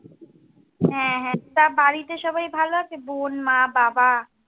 হ্যাঁ হ্যাঁ, তা বাড়িতে সবাই ভালো আছে, বোন মা বাবা?